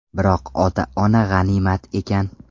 Biroq ota-ona g‘animat ekan.